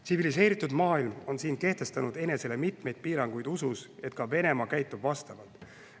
Tsiviliseeritud maailm on siin kehtestanud enesele mitmeid piiranguid usus, et ka Venemaa käitub vastavalt.